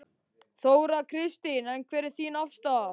Þóra Kristín: En hver er þín afstaða?